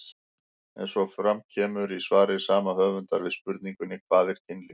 Eins og fram kemur í svari sama höfundar við spurningunni Hvað er kynlíf?